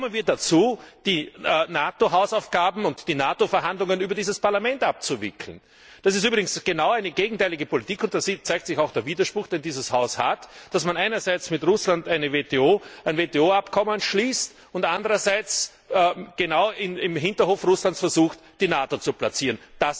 Wie kommen wir dazu, die NATO Hausaufgaben und die NATO Verhandlungen über dieses Parlament abzuwickeln? Das ist übrigens genau eine gegenteilige Politik, und da zeigt sich auch der Widerspruch, den es in diesem Haus gibt, dass man einerseits mit Russland ein WTO Abkommen schließt und andererseits versucht, im Hinterhof Russlands die NATO zu platzieren.